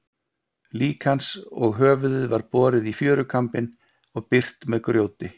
Lík hans og höfuðið var borið í fjörukambinn og byrgt með grjóti.